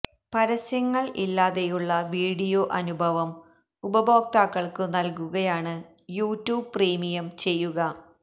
പരസ്യങ്ങള് ഇല്ലാതെയുളള വീഡിയോ അനുഭവം ഉപയോക്താക്കള്ക്കു നല്കുകയാണ് യൂട്യൂബ് പ്രീമിയം ചെയ്യുക